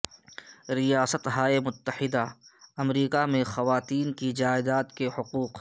ریاستہائے متحدہ امریکہ میں خواتین کی جائیداد کے حقوق